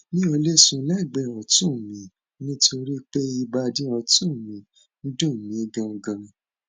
mi ò lè sùn lẹgbẹẹ ọtún mi nítorí pé ìbàdí ọtún mi ń dùn mí ganan ganan